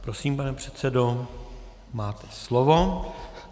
Prosím, pane předsedo, máte slovo.